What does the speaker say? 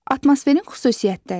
Atmosferin xüsusiyyətləri.